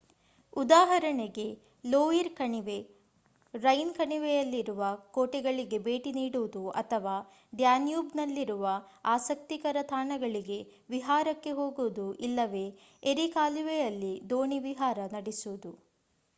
ಉದಾಹರಣೆಗೆ ಲೋಯಿರ್ ಕಣಿವೆ ರೈನ್ ಕಣಿವೆಯಲ್ಲಿರುವ ಕೋಟೆಗಳಿಗೆ ಭೇಟಿ ನೀಡುವುದು ಅಥವಾ ಡ್ಯಾನ್ಯೂಬ್‌ನಲ್ಲಿನ ಆಸಕ್ತಿಕರ ತಾಣಗಳಿಗೆ ವಿಹಾರಕ್ಕೆ ಹೋಗುವುದು ಇಲ್ಲವೇ ಎರಿ ಕಾಲುವೆಯಲ್ಲಿ ದೋಣಿ ವಿಹಾರ ನಡೆಸುವುದು